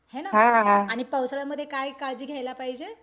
हे ना? आणि पावसाळ्यामध्ये काय काळजी घ्यायला पाहिजे?